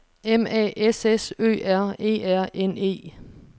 M A S S Ø R E R N E